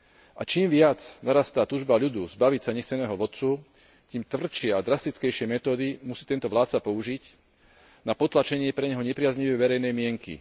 A čím viac narastá túžba ľudu zbaviť sa nechceného vodcu, tým tvrdšie a drastickejšie metódy musí tento vládca použiť na potlačenie pre neho nepriaznivej verejnej mienky.